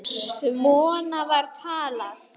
Svona var talað.